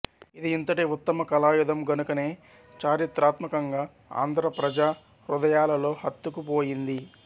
ఇది ఇంతటి వుత్తమ కళాయుధం గనుకనే చారిత్రాత్మకంగా ఆంధ్ర ప్రజా హృదయాలలో హత్తుకు పోయింది